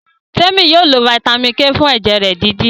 Temi yóò ló vitamin k fún ẹjẹ rẹ dídì.